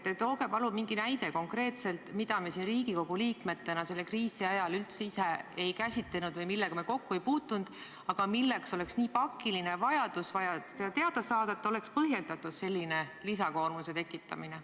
Tooge palun mingi näide konkreetselt, mida me siin Riigikogu liikmetena selle kriisi ajal üldse ise ei käsitlenud või millega me kokku ei puutunud, aga oleks nii pakiline vajadus seda teada saada, et oleks põhjendatud sellise lisakoormuse tekitamine.